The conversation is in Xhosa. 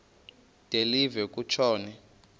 de live kutshona